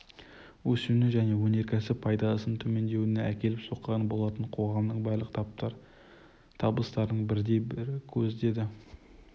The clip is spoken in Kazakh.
өсуіне және өнеркәсіп пайдасын төмендеуіне әкеліп соққан болатын қоғамның барлық таптар табыстарының бірден-бір көзі деді